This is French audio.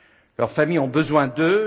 Leurs familles ont besoin d'eux